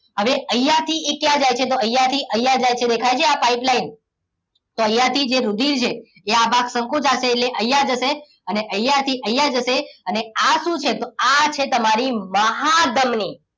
હવે અહીંયા થી એ ક્યાં જાય છે તો અહીંયા થી અહીંયા જાય છે દેખાય છે આ pipeline તો અહીંયાથી જે રુધિર છે એ આ ભાગ સંકોચાશે એટલે અહીંયા જશે અને અહીંયા થી અહીંયા જશે અને આ શું છે તો આ છે તમારી મહાધમની